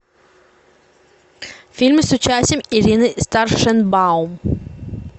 фильмы с участием ирины старшенбаум